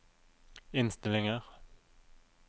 innstillinger